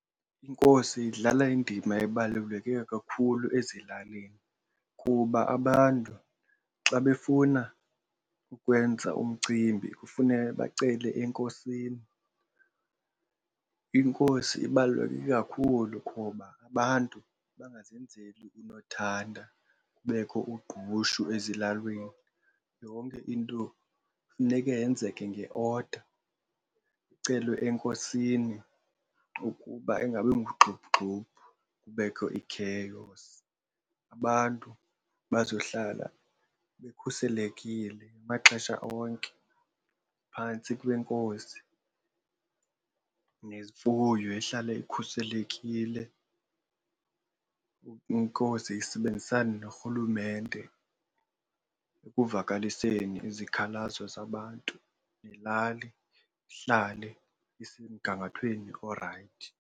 Inkosi idlala indima ebaluleke kakhulu ezilalini kuba abantu xa befuna ukwenza umcimbi kufuneke bacele enkosini. Inkosi ibaluleke kakhulu kuba abantu bangazenzeli unothanda kubekho ugqushe ezilalini, yonke into funeke yenzeke nge-order kucelwe enkosini ukuba ingabi ngugxuphugxuphu, kubekho i-chaos. Abantu bazohlala bekhuselekile ngamaxesha onke phantsi kwenkosi nemfuyo ihlale ikhuselekile, inkosi isebenzisane norhulumente ekuzivakaliseni izikhalazo zabantu nelali ihlale isemgangathweni orayithi.